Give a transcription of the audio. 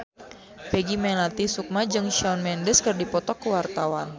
Peggy Melati Sukma jeung Shawn Mendes keur dipoto ku wartawan